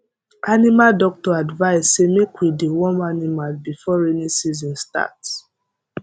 animal doctor advise say make we deworm animal before rainy season starts